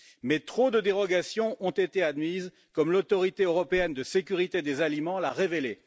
Mais trop de dérogations ont été admises, comme l'Autorité européenne de sécurité des aliments l'a révélé.